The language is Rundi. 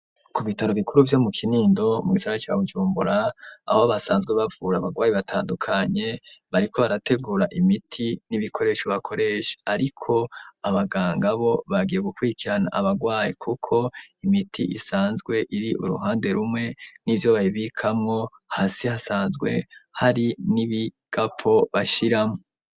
Ku bitaro bikuru vyo mu kinindo mu gisara ca BuJumbura abo basanzwe bapfura abagwayi batandukanye bariko barategura imiti n'ibikoresho bakoresha ariko abaganga bo bagiye gukurikirana abagwayi kuko imiti isanzwe iri uruhande rumwe nivyo bayibikamo hasi hasanzwe hari n'ibigapo bashiramo.